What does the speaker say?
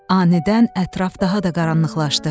Anidən ətraf daha da qaranlıqlaşdı.